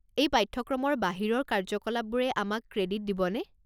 এই পাঠ্যক্ৰমৰ বাহিৰৰ কাৰ্যকলাপবোৰে আমাক ক্ৰেডিট দিবনে?